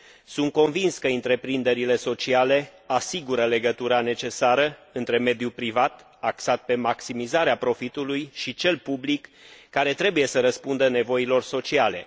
Sunt convins că întreprinderile sociale asigură legătura necesară între mediul privat, axat pe maximizarea profitului, și cel public, care trebuie să răspundă nevoilor sociale.